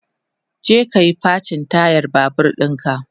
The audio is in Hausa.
je kayi facin tayar Babur ɗinka!